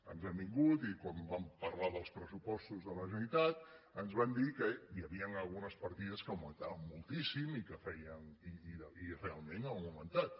ens han vingut i quan vam parlar dels pressupostos de la generalitat ens van dir que hi havien algunes partides que augmentaven moltíssim i realment han augmentat